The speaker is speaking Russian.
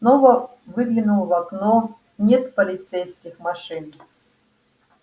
снова выглянул в окно нет полицейских машин